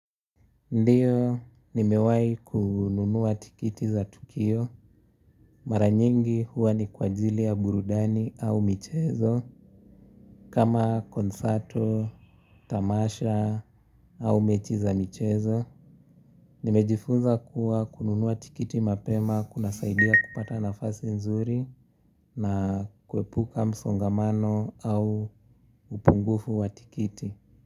Ndio, nimewahi kununua tikiti za tukio. Mara nyingi huwa ni kwa ajili ya burudani au michezo. Kama concerto, tamasha, au mechi za michezo. Nimejifunza kuwa kununua tikiti mapema kunasaidia kupata nafasi nzuri na kuepuka msongamano au upungufu wa tikiti.